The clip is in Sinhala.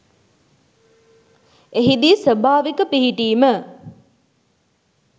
එහිදී ස්වභාවික පිහිටීම